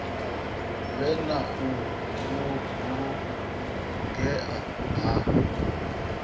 vhe na u vhulungea ha